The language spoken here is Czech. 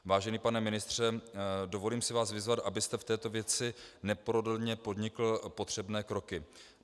Vážený pane ministře, dovolím si vás vyzvat, abyste v této věci neprodleně podnikl potřebné kroky.